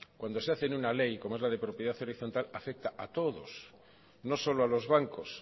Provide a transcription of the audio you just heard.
cuando se hace en una ley como es en la de propiedad horizontal afecta a todos no solo a los bancos